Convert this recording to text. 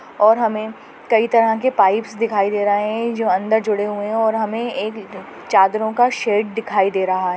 और हमे कई तरह के पाइप्स दिखाई दे रहे हैं जो अंदर जुड़े हुए हैं और हमे ए चादरों का सेट दिखाई दे रहा है।